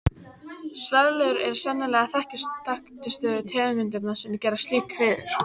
Svölur eru sennilega þekktustu tegundirnar sem gera slík hreiður.